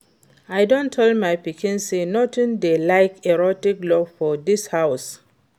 I done tell my pikin say nothing dey like erotic love for dis house